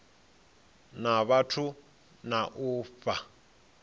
na vhathu na u fha